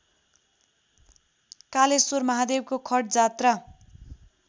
कालेश्वर महादेवको खटजात्रा